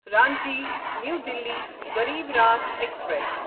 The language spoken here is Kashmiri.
Ranchi new Delhi Garib Rath express